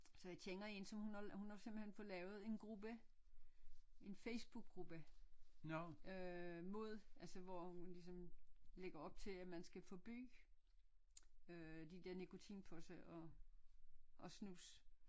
Så jeg kender en som hun har hun har simpelthen fået lavet en gruppe en facebookgruppe øh mod altså hvor hun ligesom lægger op til at man skal forbyde øh de der nikotinposer og og snus